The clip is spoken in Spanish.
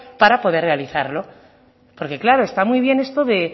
para poder realizarlo porque claro está muy bien esto de